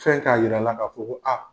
Fɛn k'a yir'a la ka fɔ ko a